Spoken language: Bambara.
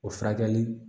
O furakɛli